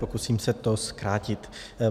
Pokusím se to zkrátit.